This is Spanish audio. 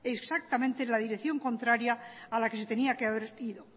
exactamente en la dirección contraria a la que se tenia que haber ido